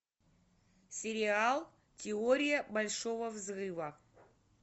сериал теория большого взрыва